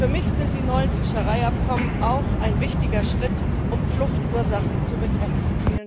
Für mich sind die neuen Fischereiabkommen auch ein wichtiger Schritt, um Fluchtursachen zu bekämpfen.